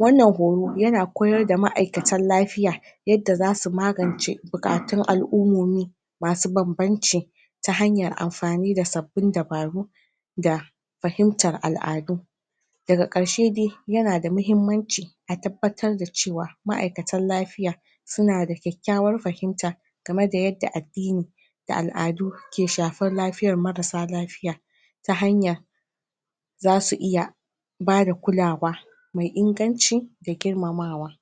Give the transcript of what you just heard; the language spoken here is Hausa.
wannan horo yana koyar da ma'aikatan lafiya yadda zasu magance buƙatun al'ummomi masu banbance ta hanyar amfani da sabbin dabaru da fahimtar al'adu daga ƙarshe dai yana da mahimmanci a tabbatar da cewa ma'aikatan lafiya suna da ƙyaƙyawar fahimta game da yadda addini da al'adu ke shafar lafiyar marasa lafiya ta hanya zasu iya bada kulawa me inganci da girmamawa